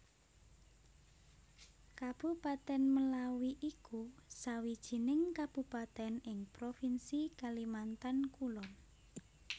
Kabupatèn Melawi iku sawijining kabupatèn ing provinsi Kalimantan Kulon